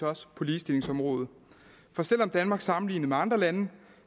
også på ligestillingsområdet for selv om danmark sammenlignet med andre lande